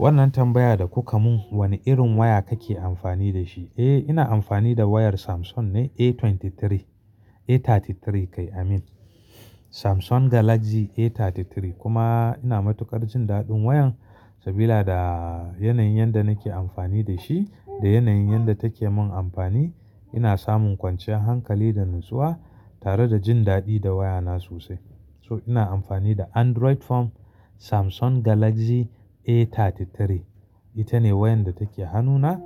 Wannan tambaya da kuka mun wane irin waya kake amfani da shi? Eh ina amfani da wayar Samsung ne A23, A33 kai Amin. Samsung Galaxy A33 kuma ina matuƙar jin daɗin wayan sabida yanayin yadda nake amfani da shi da yanayin yanda take mun amfani. Ina samun kwanciyar hankali da natsuwa tare da jin daɗi da wayana sosai. So ina amfani da Android phone Samsung Galaxy A33. Ita ne wayar da take hannuna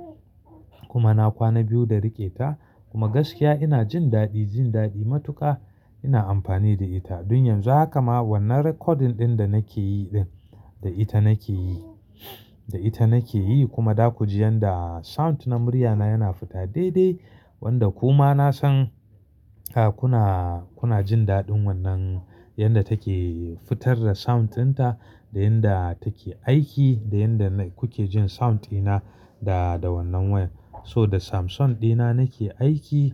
kuma na kwana biyu da rike ta kuma gaskiya ina jin daɗi, jin daɗi matuka ina amfani da ita. Don yanzu haka ma wannan recording ɗin da nake yi ɗin da ita nake yi, da ita nake yi kuma za ku ji yadda sound na muryana yana fita daidai wanda kuma na san kuna, kuna jin daɗin wannan yadda take fitar da sound dinta da yadda take aiki da yadda kuke jin sound ina da wannan wayan. So da Samsung ɗina nake aiki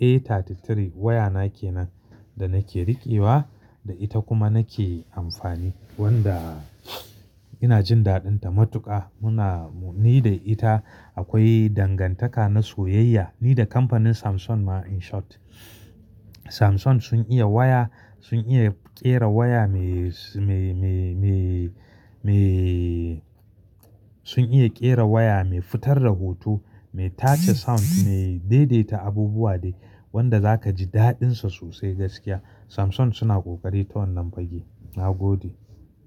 A33 wayana kenan da nake riƙewa da ita kuma nake amfani wadda ina jin daɗin ta matuƙa. Muna ni da ita akwai dangantaka na soyayya ni da kamfanin Samsung ma in short. Samsung sun iya waya, sun iya ƙera waya mai, mai, mai, sun iya ƙera waya mai fitar da hoto, mai tace sound, mai daidaita abubuwa dai wadda za ka ji daɗin sa sosai gaskiya. Samsung suna ƙoƙari ta wannan fage. Na gode.